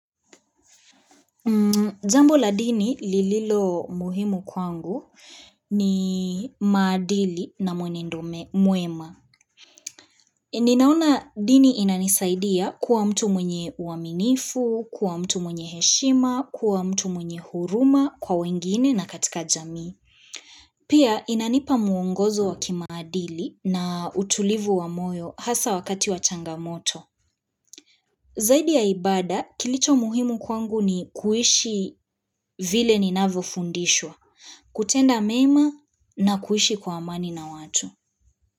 Jambo la dini lililo muhimu kwangu ni maadili na mwenendo mwema. Ninaona dini inanisaidia kuwa mtu mwenye uaminifu, kuwa mtu mwenye heshima, kuwa mtu mwenye huruma kwa wengine na katika jamii. Pia inanipa muongozo wa kimaadili na utulivu wa moyo hasa wakati wa changamoto. Zaidi ya ibaada, kilicho muhimu kwangu ni kuishi vile ninavyo fundishwa, kutenda mema na kuishi kwa amani na watu.